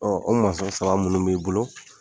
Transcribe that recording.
o sɔrɔ saba minnu b'i bolo.